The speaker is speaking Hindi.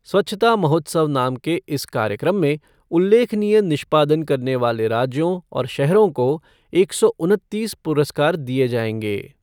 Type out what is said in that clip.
स्वच्छता महोत्स्व नाम के इस कार्यक्रम में उल्लेखनीय निष्पादन करने वाले राज्यों और शहरों को एक सौ उनतीस पुरस्कार दिये जाएंगे।